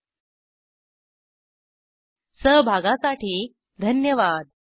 ह्या ट्युटोरियलचे भाषांतर पुरुशोतम यांनी केले असून मी रंजना भांबळे आपला निरोप घेते सहभागासाठी धन्यवाद